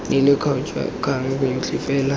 neileng kgature kgang yotlhe fela